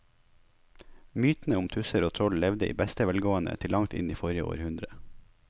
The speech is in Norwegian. Mytene om tusser og troll levde i beste velgående til langt inn i forrige århundre.